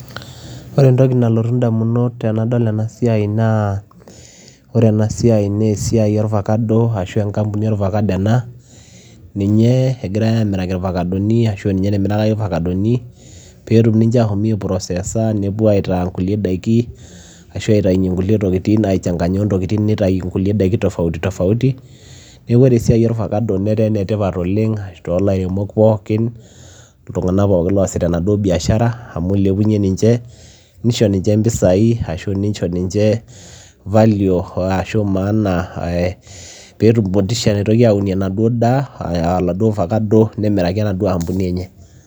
Oree entokii nalotuu idamunot tenadol enaa naa esiai ee ovacado ashua enkambuni namirakini peyiee epuo aitayunyie ngulie daiki netaa ena siai enetipat oleng too ilaremok pookin ishooo ninye mpisai netum motisha naitokii aunie ovacado nimiraki enkambuni